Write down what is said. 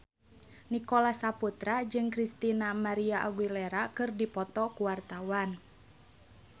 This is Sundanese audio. Nicholas Saputra jeung Christina María Aguilera keur dipoto ku wartawan